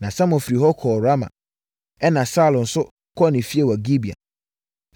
Na Samuel firi hɔ kɔɔ Rama ɛna Saulo nso kɔɔ ne fie wɔ Gibea.